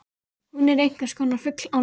Hún er einhverskonar fugl án vængja.